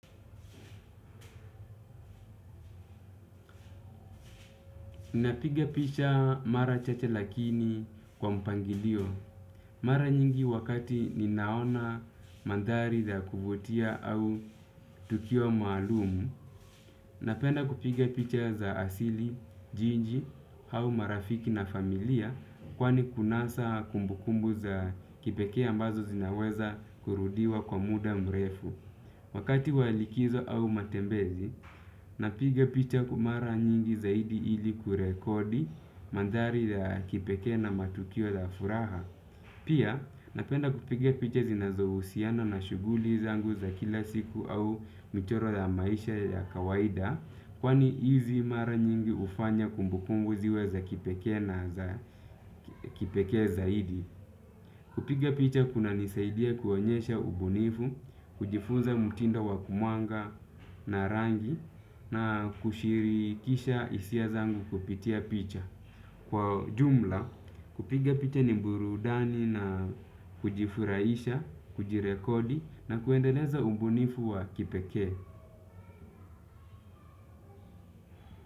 Napiga picha mara chache lakini kwa mpangilio. Mara nyingi wakati ninaona mandhari za kuvutia au tukio maalumu. Napenda kupiga picha za asili, jiji, au marafiki na familia kwani kunasa kumbukumbu za kipekee ambazo zinaweza kurudiwa kwa muda mrefu. Wakati wa likizo au matembezi, napiga picha kwa mara nyingi zaidi ili kurekodi mandhari za kipekee na matukio za furaha. Pia napenda kupiga picha zinazohusiana na shughuli zangu za kila siku au mchoro za maisha ya kawaida. Kwani hizi mara nyingi hufanya kumbukumbu ziwe za kipekee na za kipekee zaidi. Kupiga picha kunanisaidia kuonyesha ubunifu, kujifunza mtindo wa kumuanga na rangi na kushirikisha hisia zangu kupitia picha. Kwa jumla, kupiga picha ni burudani na kujifurahisha, kujirekodi na kuendeleza ubunifu wa kipekee.